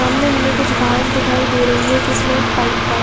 सामने हमे कुछ घास दिखयी दे रही है जिसमे पाइप --